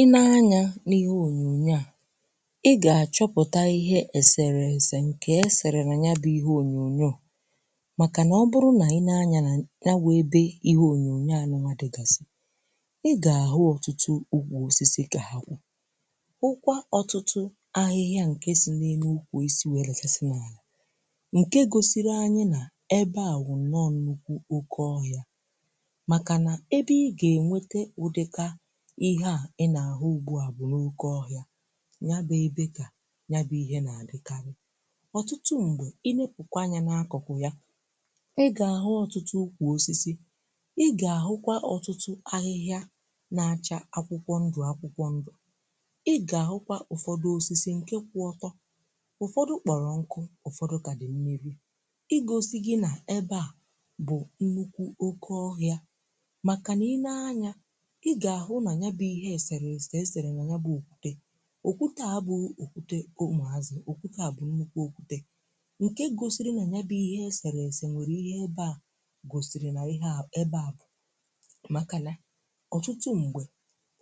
Ì nee ànyá n’ihe ònyònyo à ị gà-àchọpụta ihe èsèrèse ǹkè esèrè nà ya bụ́ ihe ònyònyo màkà nà ọ bụrụ nà ị nee anya n’anya wụ́ ebè ihe ònyònyo à dịgàsị́ ị gà-àhụ ọtụtụ́ ukwù osisi kà ha kwụ́ hụkwa ọtụtụ́ ahịhịa ǹkè si n’enu ’ukwù osi wee dachasị́ n’àlà ǹke gōsịrị́ anyị nà ebe à wụ̀ nọ nnukwu oke ọhịá màka nà ebe ị ga enwete ụdị́kà ihe a, ị nà-àhụ ugbu à bụ́ n’oke ọhịa nya bụ́ ebe kà nya bụ́ ihe nà-àdịkarị̀ ọtụtụ́ ṁgbè um ị nēpụkwa anya n’akụkụ̀ ya ị gà-àhụ́ ọtụtụ́ ukwù osisi ị gà-àhụkwa ọtụtụ́ ahịhịá na-acha akwụkwọ ndụ̀ akwụkwọ ndụ̀ ị gà-àhụkwa ụfọdụ osisi ǹke kwụ́ ọtọ́, ụfọdụ kporọ̀ nkụ́, ụfọdụ kà dị̀ mmirì ị gọ́sị́ gị nà ebe a bụ̀ nnukwu oke ọhịá màka nà ị nee anya ị ga ahụ nà nyaba ihe èsèrèse esere n’nya bụ́ okwute. Okwute a bụ́ okwute ụmụ ázị́. Okwute a bụ́ nnukwu okwute ǹke gōsịrị́ nà nyaba ihe èsèrèse nwèrè ihe ebe a gōsị́rị́ nà ihe a ebe a bụ́ màka nà ọtụtụ́ mgbè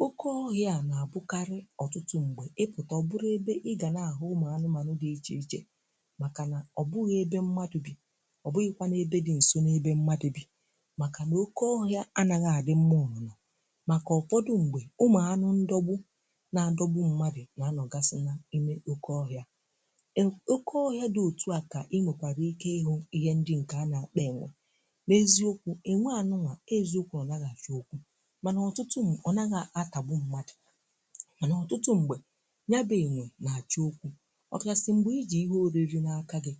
oke ọhịa na-abụkarị́ ọtụtụ́ mgbè ị pụta um ọ bụrụ ebe ị ga nà-ahụ́ ụmụ ánụ́manụ́ dị́ iche iche màka nà ọ bụghị́ ebe mmadụ́ bì́ ọ bụghịkwanụ ebe dị́ nso n’ebe mmadụ́ bì́ màka nà oke ọhịa anaghị́ adị mmá ụ̀nụnọ màka ụfọdụ mgbè ụmụ̀ ánụ́ ndọgbụ́ na-adọgbụ́ mmadụ̀ nà-anọgàsị̀ na imè oke ọhịá. Ọ́ um oke ọhịá dị́ otúà kà ị nwèkwàrà ike ịhụ́ ihe ndị ǹke a na-akpọ́ ènwè. Eziokwu, énwe anụnwa ọ́ eziokwu nà ọ́ anaghị́-àchọ́ okwú mànà ọtụtụ́ mgbè ọ naghị́ atàgbu mmadụ̀ mànà ọtụtụ́ mgbè nya bụ́ ènwè nà-àchọ́ okwú ọkaasị̀ mgbè i jī ihe oriri n’aka gị́.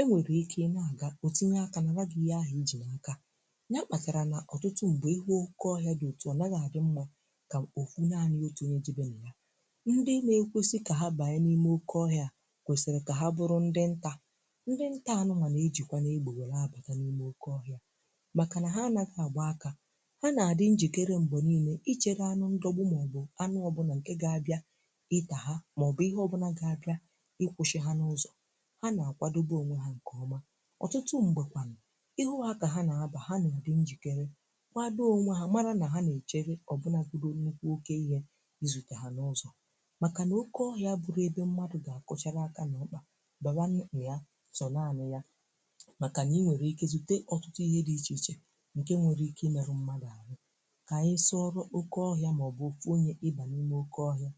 É nwèrè ike i nà-àga ọ́ tinyé aka nàra gị́ ihe ahụ́ i ji nà aka nya kpakàrà nà ọtụtụ́ mgbè ihu oke ọhịá dị́ otú ọ naghị́ adị mmá kà ọfụ́ nànị́ otú ónyé jèbe n’iya. Ndị na-ekwu sị́ kà ha banyé n'ime oke ọhịá kwesị́rị́ kà ha bụrụ́ ndị nta. Ndị nta anụnwa na-ejịkwanụ égbè wele abata n'ime oke ọhịá màka nà ha anaghị́ agba áká. Ha na-adị njikere mgbè nile ichegà ánụ́ ndọgbụ́ mà ọ bụ́ ánụ́ ọ bụla ǹke ga-abia ìta ha mà ọ bụ́ ihe ọ bụla ga-abia ikwụsị́ ha n'ụzọ. Ha na-akwadobe onwé ha ǹke ọ́ma. Ọtụtụ́ mgbè kwanụ ihu ha kà ha na-abà ha na-adị njikere kwado onwé ha màrà nà ha na-ejèhe ọbụ̀nàgọdụ́ nnukwu oke ihe izuté ha n’ụzọ um màka n’oke ọhịá abụrụ́ ebe mmadụ́ ga-akụchara áká n’ọ́kpa bawanụ n’i ya sọ́ nànị́ ya màka ị nwere ike zuté ọtụtụ́ ihe dị́ iche iche ǹke nwere ike ịmerụ́ mmadụ́ ahụ́ kà anyị sọ́ọrụ́ oke ọhịá maọbụ́ ọfụ́ ónyé ịbà n’ime oke ọhịá.